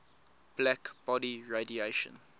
black body radiation